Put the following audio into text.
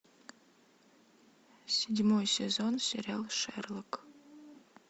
седьмой сезон сериал шерлок